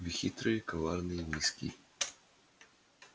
вы хитрый коварный низкий